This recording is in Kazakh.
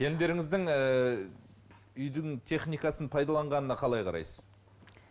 келіндеріңіздің ііі үйдің техникасын пайдаланғанына қалай қарайсыз